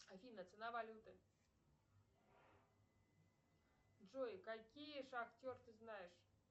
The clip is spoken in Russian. афина цена валюты джой какие шахтеры ты знаешь